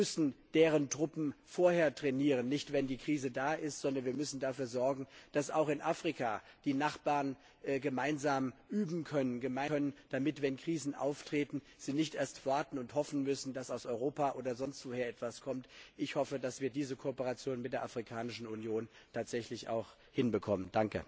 Wir müssen deren Truppen vorher trainieren, nicht erst, wenn die Krise da ist. Wir müssen dafür sorgen, dass auch in Afrika die Nachbarn gemeinsam üben können, damit, wenn Krisen auftreten, sie nicht erst warten und hoffen müssen, dass aus Europa oder sonst wo her etwas kommt. Ich hoffe, dass wir diese Kooperation mit der Afrikanischen Union auch tatsächlich hinbekommen.